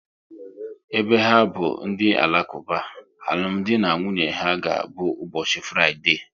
Ebe ha bụ ndị Alakuba, alụmdi na nwunye ha ga abụ ụbọchị Fraịdee